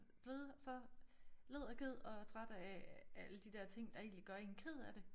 Blevet så led og ked af træt af alle de der ting der egentlig gør én ked af det